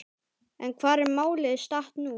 En hvar er málið statt nú?